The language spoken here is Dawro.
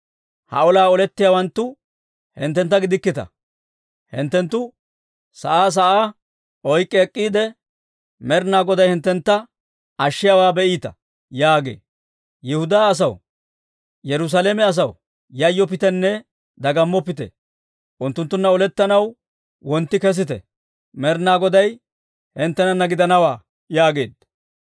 Ha olaa olettiyaawanttu hinttentta gidikkita. Hinttenttu sa'aa sa'aa oyk'k'i ek'k'iide, Med'inaa Goday hinttentta ashiyaawaa be'iita› yaagee. Yihudaa asaw, Yerusaalame asaw, yayyoppitenne dagammoppite! Unttunttunna olettanaw wontti kesite. Med'inaa Goday hinttenana gidanawaa» yaageedda.